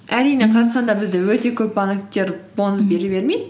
әрине қазақстанда бізде өте көп банктер бонус бере бермейді